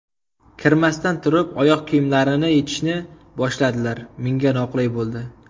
Kirmasdan turib, oyoq kiyimlarini yechishni boshladilar, menga noqulay bo‘ldi.